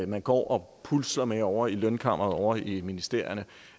man går og pusler med ovre i lønkammeret ovre i ministerierne